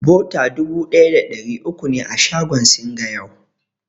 Bota dubu ɗaya da ɗari uku ne a shagon Singa yau.